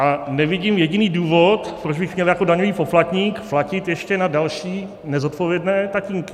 A nevidím jediný důvod, proč bych měl jako daňový poplatník platit ještě na další nezodpovědné tatínky.